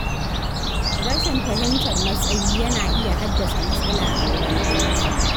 Rashin fahimtar matsayi yana iya haddasa matsala a wurin aiki.